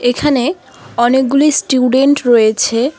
এখানে অনেকগুলি স্টুডেন্ট রয়েছে।